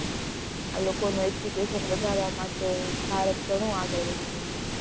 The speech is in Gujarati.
આ લોકોનું education વધારવા માટે ભારત ઘણું આગળ વધી રહ્યું છે,